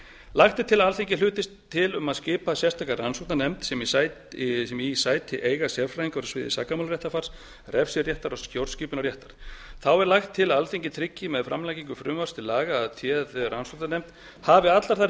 lagt er til að alþingi hlutist til um að skipa sérstaka rannsóknarnefnd sem í eigi sæti sérfræðingar á sviði sakamálaréttarfars refsiréttar og stjórnskipunarréttar þá er lagt til að alþingi tryggi með framlagningu frumvarps til laga að téð rannsóknarnefnd hafi allar þær